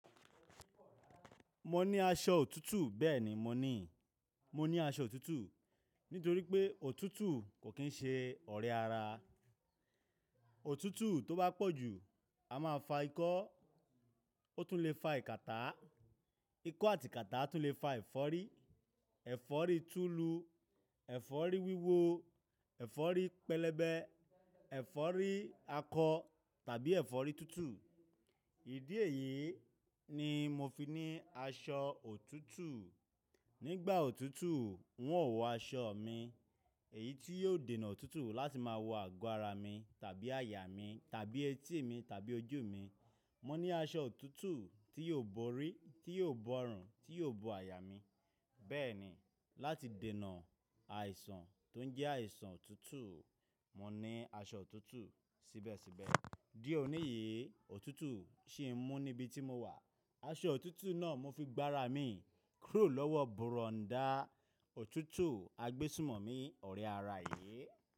Mo ní aṣọ òtútù. Bẹ́ẹ̀ni, mo ní, mo ní aṣọ òtútù. Nítorí pé òtútù kò kín ṣe ọ̀rẹ́ ara. Òtútù tó bá pọ̀ ju, a máa fa ikọ́. Ó tún le fa ìkàtá. Ikọ́ àti ìkàtá tún le fa ẹ̀fọ́rí. Ẹ̀fọ́rí tulu, ẹ̀fọ́rí wíwo, ẹ̀fọ́rí pẹlẹbẹ, ẹ̀fọ́rí akọ tàbí ẹ̀fọ́rí tútù. Ìdí èyí ni mo fi ní aṣọ òtútù. Nígbà òtútù, n ó wọ aṣọ mi. Èyí tí yóò dènà òtútù láti máa wọ àgọ́ ara mi tàbí àyà mi tàbí etí mi tàbí ojú mi. Mo ní aṣọ òtútù tí yóò bo orí, tí yóò bo ọrùn, tí yóò bo àyà mi. Bẹ́ẹ̀ni, láti dènà àìsàn tó ń jẹ́ àìsàn òtútù, mo ní aṣọ òtútù síbẹ̀síbẹ̀. Dí òní yìí, òtútù sì ń mú níbi tí mo wà. Aṣọ òtútù náà mo fi gba ara mi kúrò lọ́wọ́ bùrọ̀ndá òtútù agbésùmọ̀mí ọ̀rẹ́ ara yìí.